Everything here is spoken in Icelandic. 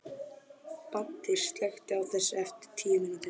Baddi, slökktu á þessu eftir tíu mínútur.